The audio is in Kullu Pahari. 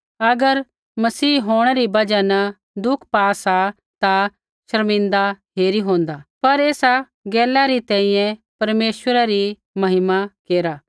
अगर मसीह होंणै री बजहा न दुख पा सा ता शर्मिंदा हेरी होंदा पर एसा गैलै री तैंईंयैं परमेश्वरै री महिमा केरा